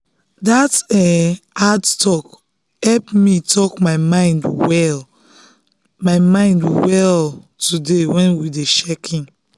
that um hard talk help um me talk my mind well my mind well today when we dey check-in.